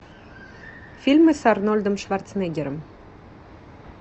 фильмы с арнольдом шварценеггером